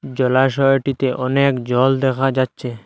জলাশয়টিতে অনেক জল দেখা যাচ্ছে।